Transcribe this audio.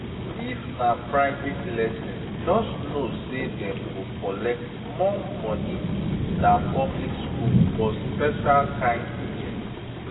if na private lesson just know say dem go collect more money than public school for special kind teaching